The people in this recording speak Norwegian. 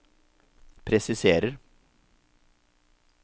presiserer